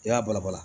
I y'a bala bala